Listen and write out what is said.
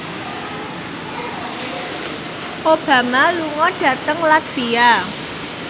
Obama lunga dhateng latvia